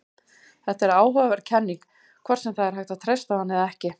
Þetta er áhugaverð kenning, hvort sem það er hægt að treysta á hana eða ekki.